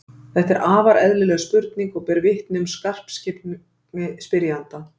þetta er afar eðlileg spurning og ber vitni um skarpskyggni spyrjanda